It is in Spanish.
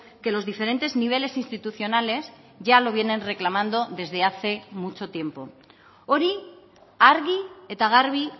que los diferentes niveles institucionales ya lo vienen reclamando desde hace mucho tiempo hori argi eta garbi